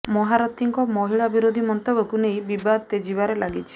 ମହାରଥୀଙ୍କ ମହିଳା ବିରୋଧୀ ମନ୍ତବ୍ୟକୁ ନେଇ ବିବାଦ ତେଜିବାରେ ଲାଗିଛି